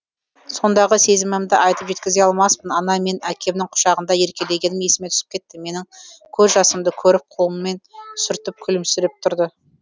сондағы сезімімді айтып жеткізе алмаспын ана мен әкемнің құшағында еркелегенім есіме түсіп кетті менің көз жасымды көріп қолымен сүртіп күлімсіреп тұрды